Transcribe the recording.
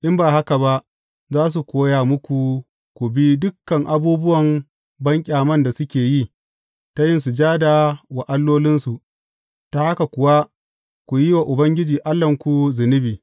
In ba haka ba, za su koya muku ku bi dukan abubuwan banƙyaman da suke yi, ta yin sujada wa allolinsu, ta haka kuwa ku yi wa Ubangiji Allahnku zunubi.